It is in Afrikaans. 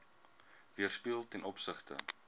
weerspieël ten opsigte